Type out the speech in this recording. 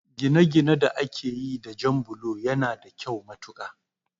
Ginaginai da akayi da jan bulo yana da kyau matuƙa